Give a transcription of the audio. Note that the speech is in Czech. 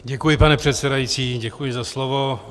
Děkuji, pane předsedající, děkuji za slovo.